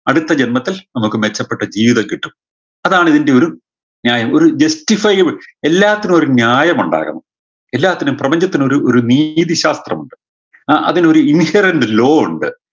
അടുത്ത ജന്മത്തിൽ നമക്ക് മെച്ചപ്പെട്ട ജീവിതം കിട്ടും അതാണ് ഇതിൻറെയൊരു ന്യായം ഒരു justify all എല്ലാത്തിനും ഒരു ന്യായമുണ്ടാകണം എല്ലാത്തിനും പ്രപഞ്ചത്തിനൊരു ഒരു നീതിശാസ്ത്രമുണ്ട് അഹ് അതിനൊരു inherent low ഉണ്ട്